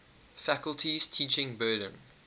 faculty's teaching burden